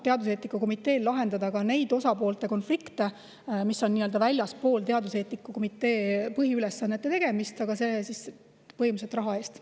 Teaduseetika komiteel on lubatud lahendada ka neid konflikte, mis on väljaspool teaduseetika komitee põhiülesandeid, aga seda siis põhimõtteliselt raha eest.